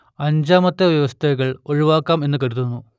അഞ്ചാമത്തെ വ്യവസ്ഥകൾ ഒഴിവാക്കാം എന്നു കരുതുന്നു